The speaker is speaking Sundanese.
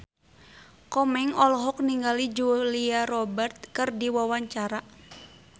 Komeng olohok ningali Julia Robert keur diwawancara